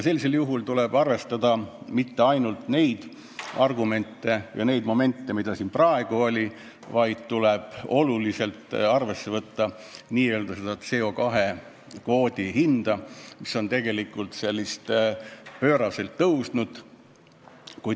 Sellisel juhul tuleb aga arvestada mitte ainult neid argumente ja momente, mis siin praegu olid, vaid ka CO2 kvoodi hinda, mis on pööraselt tõusnud.